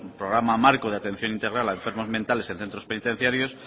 programa marco de atención integral a enfermos mentales en centros penitenciarios